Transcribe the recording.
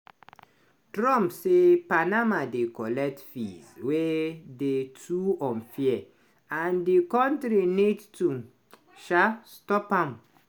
trump say panama dey collect fees wey dey too 'unfair' and di country need to um stop am.